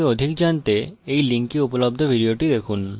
এই link উপলব্ধ video দেখুন